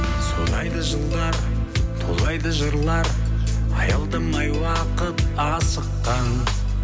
зулайды жылдар тулайды жырлар аялдамай уақыт асыққан